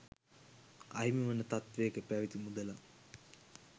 අහිමිවන තත්ත්වයක පැවැති මුදලක්